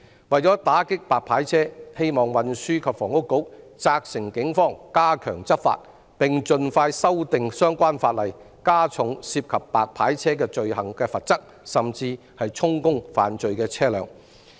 為了打擊"白牌車"，希望運輸及房屋局責成警方加強執法，並盡快修訂相關法例，加重涉及"白牌車"罪行的罰則，甚至充公犯罪的車輛。